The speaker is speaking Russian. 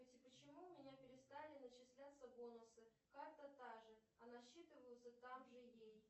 почему у меня перестали начисляться бонусы карта та же а насчитываются так же ей